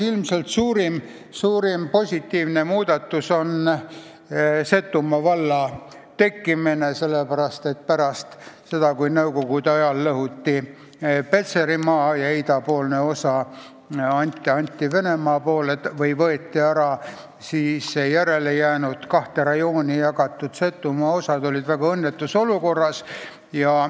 Ilmselt suurim positiivne muudatus on Setomaa valla tekkimine, sest pärast seda, kui nõukogude ajal lõhuti Petserimaa ja anti idapoolne osa Venemaale – või võeti ära –, siis järele jäänud Setomaa osad olid kahte rajooni jagatud ja väga õnnetus olukorras.